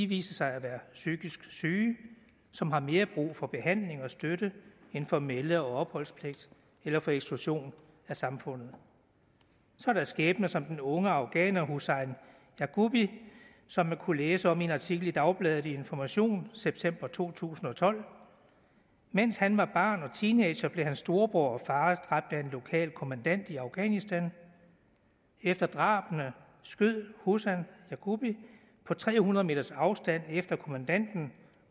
viser sig at være psykisk syge som har mere brug for behandling og støtte end for melde og opholdspligt eller for eksklusion af samfundet så er der skæbner som den unge afghaner husain yagubi som man kunne læse om i en artikel i dagbladet information september to tusind og tolv mens han var barn og teenager blev hans storebror og far dræbt af en lokal kommandant i afghanistan efter drabene skød husain yagubi på tre hundrede meters afstand efter kommandanten